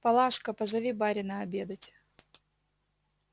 палашка позови барина обедать